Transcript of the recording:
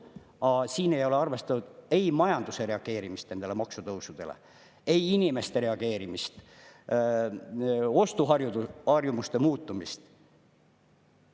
Aga siin ei ole arvestatud ei majanduse reageerimist nendele maksutõusudele, ei inimeste reageerimist ega ostuharjumuste muutumist.